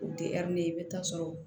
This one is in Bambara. U tɛ i bɛ taa sɔrɔ